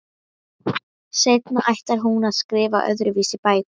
Seinna ætlar hún að skrifa öðruvísi bækur.